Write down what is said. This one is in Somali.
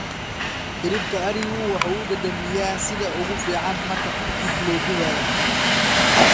Hilibka arigu wuxuu u dhadhamiyaa sida ugu fiican marka tartiib loo dubayo.